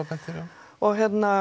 og